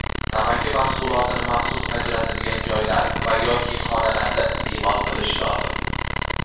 Tamaki mahsulotini maxsus ajratilgan joylar va (yoki) xonalarda isteʼmol qilish lozim.